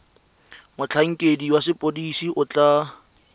motlhankedi wa sepodisi o tla